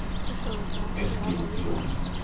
Eskil Blom